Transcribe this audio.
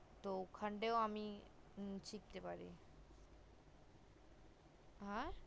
তো অখণ্ডায়ও আমি এমনি শিখতে পারি হে